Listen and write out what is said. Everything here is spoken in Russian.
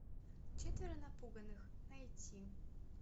четверо напуганных найти